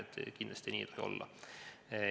Sedasi kindlasti ei tohi olla.